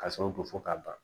Ka sɔrɔ ko fɔ ka ban